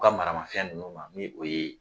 U ka maramafɛn ninnu ni o ye